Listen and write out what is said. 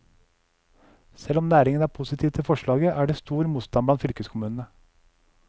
Selv om næringen er positiv til forslaget, er det stor motstand blant fylkeskommunene.